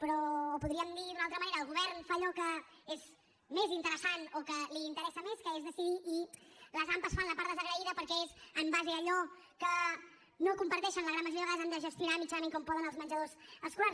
però ho podríem dir d’una altra manera el govern fa allò que és més interessant o que li interessa més que és decidir i les ampa fan la part desagraïda perquè en base a allò que no comparteixen la gran majoria de vegades han de gestionar mitjanament com poden els menjadors escolars